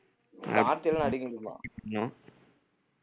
அடிக்க முடியுமா